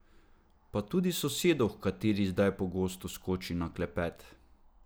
Pa tudi sosedo, h kateri zdaj pogosto skoči na klepet.